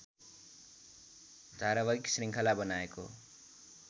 धारावाहिक शृङ्खला बनाएको